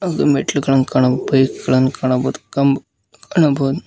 ಒಂದು ಮೆಟ್ಟಿಲುಗಳನು ಕಾನಬೋದು ಬೈಕ್ ಗಳನ್ ಕಾಣಬೋದು ಒಂದು ಕಂಬ್ ಕಾಣಬೋದು.